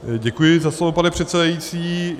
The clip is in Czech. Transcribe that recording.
Děkuji za slovo, pane předsedající.